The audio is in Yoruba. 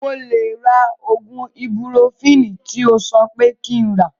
Mo lè má ra oògùn ibupurofini tí o sọ pé kí n rà